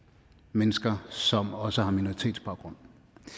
mennesker som også har minoritetsbaggrund